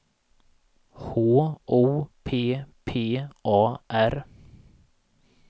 H O P P A R